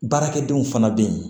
Baarakɛdenw fana bɛ yen